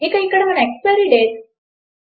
ఇక ఇక్కడ మన ఎక్స్పైరీ డేట్